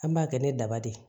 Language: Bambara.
An b'a kɛ ni daba de ye